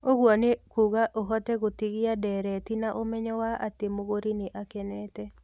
Ũguo nĩ kuuga ũhote gũtigia ndeereti na ũmenyo wa atĩ mũgũri nĩ akenete.